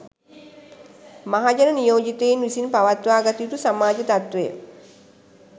මහජන නියෝජිතයින් විසින් පවත්වාගත යුතු සමාජ තත්ත්වය